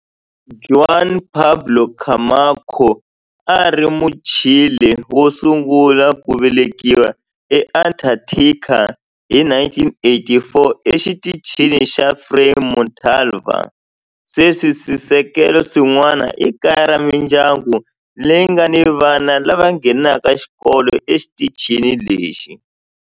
Juan Pablo Camacho a a ri Muchile wo sungula ku velekiwa eAntarctica hi 1984 eXitichini xa Frei Montalva. Sweswi swisekelo swin'wana i kaya ra mindyangu leyi nga ni vana lava nghenaka xikolo exitichini lexi.